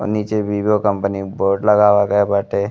और नीचे Vivo company के बोर्ड लगावल गइल बाटे।